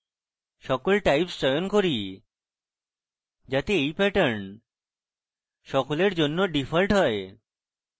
সকল types চয়ন করি যাতে এই pattern সকলের জন্য ডিফল্ট হয়